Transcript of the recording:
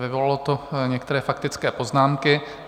Vyvolalo to některé faktické poznámky.